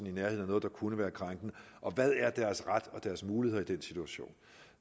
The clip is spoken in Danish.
i nærheden af noget der kunne være krænkende og hvad deres ret og deres muligheder er i den situation